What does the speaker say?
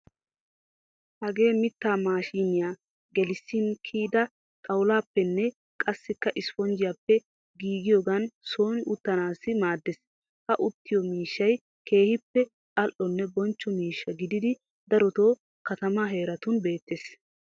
Hagee mittaa maashiniyan gelissin kiyida xawullaappenne qassikka isiponjjiyaappe giigiyogan sooni uttanaassi maaddeees. Ha uttiyo miishshay keehippe al"onne bonchcho miishsha gididi daroto katamaa heeratun beettees.